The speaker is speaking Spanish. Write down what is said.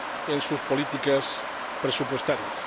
en sus políticas presupuestarias.